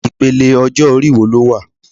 Ipele ọjọ-ori wo lo wà